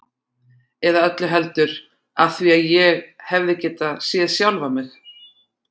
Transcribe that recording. Eða öllu heldur: af því ég hefði getað séð sjálfan mig.